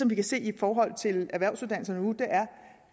vi kan se i forhold til erhvervsuddannelserne nu er